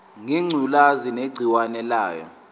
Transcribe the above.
ngengculazi negciwane layo